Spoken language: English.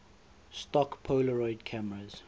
stock polaroid cameras